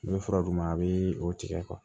I bɛ fura d'u ma a bɛ o tigɛ